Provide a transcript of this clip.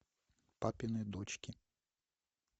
папины дочки